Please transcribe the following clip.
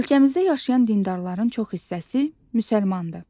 Ölkəmizdə yaşayan dindarların çox hissəsi müsəlmandır.